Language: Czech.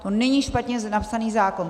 To není špatně napsaný návrh.